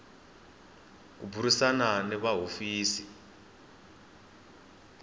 ku burisana ni va hofisi